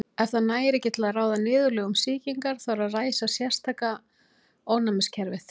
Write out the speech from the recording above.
Ef það nægir ekki til að ráða niðurlögum sýkingar þarf að ræsa sértæka ónæmiskerfið.